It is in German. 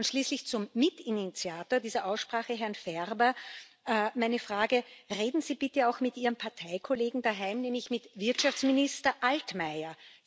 Und schließlich an den Mitinitiator dieser Aussprache, Herrn Ferber, meine Bitte Reden Sie bitte auch mit Ihrem Parteikollegen daheim, nämlich mit Wirtschaftsminister Altmaier